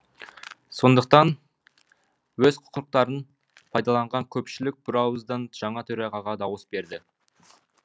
сондықтан өз құқықтарын пайдаланған көпшілік бірауыздан жаңа төрағаға дауыс берді